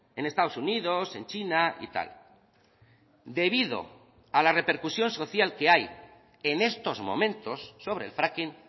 en estados unidos en china y tal debido a la repercusión social que hay en estos momentos sobre el fracking